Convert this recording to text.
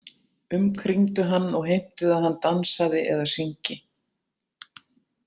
Umkringdu hann og heimtuðu að hann dansaði eða syngi.